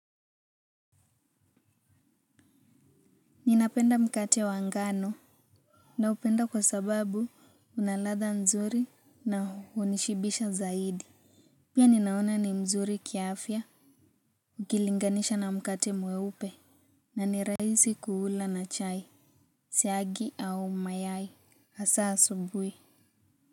Ninapenda mkate wa ngano. Naupenda kwa sababu una ladha nzuri na hunishibisha zaidi. Pia ninaona ni mzuri kiafya. Ukilinganisha na mkate mweupe na nirahisi kuula na chai siagi au mayai hasa asubui.